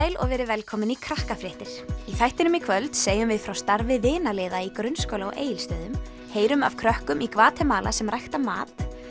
sæl og verið velkomin í Krakkafréttir í þættinum í kvöld segjum við frá starfi í grunnskóla á Egilsstöðum heyrum af krökkum í Gvatemala sem rækta mat